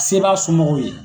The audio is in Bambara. Se b'a somɔgɔw ye.